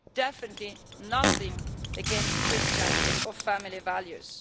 there is definitely nothing against Christian or family values.